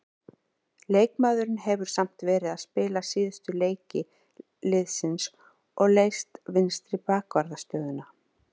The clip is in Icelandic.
Leikmaðurinn hefur samt verið að spila síðustu leiki liðsins og leyst vinstri bakvarðarstöðuna.